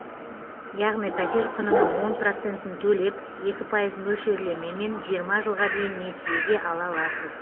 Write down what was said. яғни пәтер құнының он процентін төлеп екі пайыз мөлшерлемемен жиырма жылға дейін несиеге ала аласыз